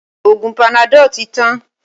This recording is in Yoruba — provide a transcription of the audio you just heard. Oògùn panadol tí tán.